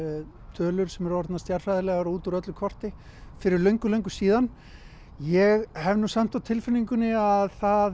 tölur sem eru orðnar stjarnfræðilegar og út úr öllu korti fyrir löngu löngu síðan ég hef samt á tilfinningunni að það